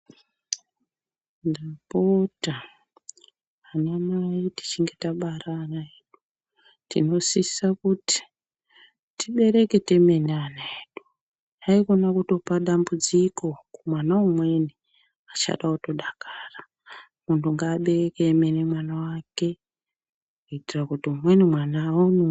Ndapota ana mai tichinge tabara ana edu tinosisa kuti tibereke temene ana edu haikona kutopa dambudziko kumwana umweni achada kutodakara, muntu ngaabereke emene mwana wake kuitira kuti umweni mwana aonewo..